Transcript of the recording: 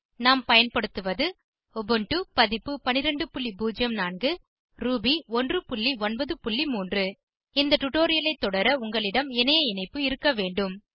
நாம் பயன்படுத்துவது உபுண்டு பதிப்பு 1204 ரூபி 193 இந்த டுடோரியலை தொடர உங்களிடம் இணைய இணைப்பு இருக்க வேண்டும்